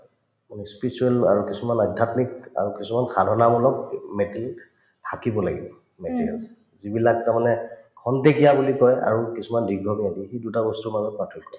মানে spiritual আৰু কিছুমান আধ্যাত্মিক আৰু কিছুমান সাধনামূলক থাকিব লাগিব materials যিবিলাক তাৰমানে খন্তেকীয়া বুলি কই আৰু কিছুমান দীঘলীয়া দুটা বস্তুৰ মাজত পাৰ্থক্য